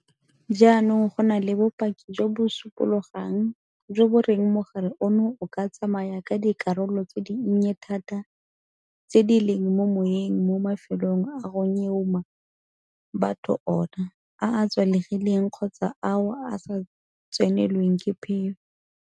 Jaanong go na le bopaki jo bo supologang jo bo reng mogare ono o ka tsamaya ka dikarolo tse dinnye thata tse di leng mo moweng mo mafelong a go nyeumang batho mo go ona, a a tswalegileng kgotsa ao a sa tsenelweng ke phefo.